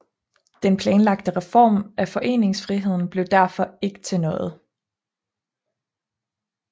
Den planlagte reform af foreningsfriheden blev derfor ikke til noget